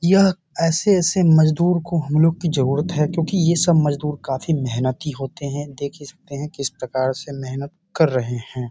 यह ऐसे-ऐसे मजदूर को हम लोग की जरूरत है क्योंकि ये सब मजदूर काफी मेहनती होते हैं देख ही सकते हैं किस प्रकार से मेहनत कर रहे हैं।